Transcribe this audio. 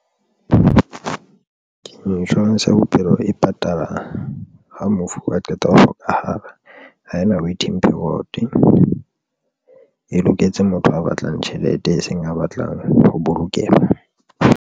Insurance ya bophelo e patala ha mofu a qeta ho hlokahala ha ena waiting period e loketse motho a batlang tjhelete, e seng a batlang ho bolokeha.